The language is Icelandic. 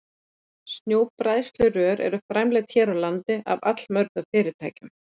Snjóbræðslurör eru framleidd hér á landi af allmörgum fyrirtækjum.